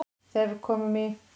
Þegar við komum í